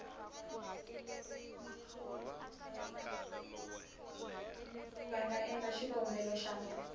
va nga endla xikombelo xa